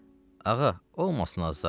Ağa, olmasın azar.